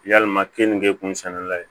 Yalima kenige kunsɛbla ye